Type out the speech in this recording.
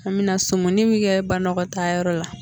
An mɛna sumuni bɛ kɛ banakɔtaa yɔrɔ la.